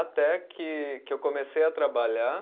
Até que, que eu comecei a trabalhar.